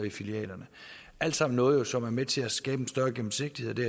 i filialerne alt sammen noget som er med til at skabe en større gennemsigtighed det